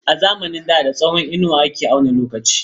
A zamanin da da tsawon inuwa ake auna lokaci.